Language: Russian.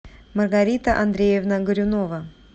маргарита андреевна горюнова